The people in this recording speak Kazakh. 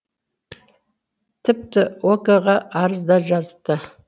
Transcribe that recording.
тіпті ок ға арыз да жазыпты